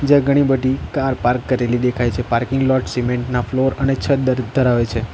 જ્યાં ઘણી બધી કાર પાર્ક કરેલી દેખાય છે પાર્કિંગ પ્લોટ સિમેન્ટના ફ્લોર છત દર્પણ આવે છે.